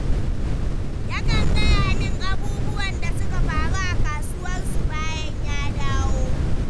Yakan gaya min abubuwan da suka faru a kasuwarsu bayan ya dawo.